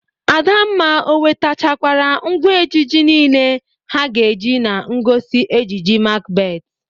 Adamma, o wetachakwara ngwa ejije niile ha ga-eji na ngosi ejije Makbet?